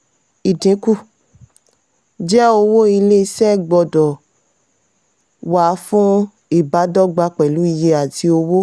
ìdínkù jẹ́ owó ilé-iṣẹ́ gbọ́dọ̀ wà fún ìbádọ́gba pẹ̀lú iye àti owó.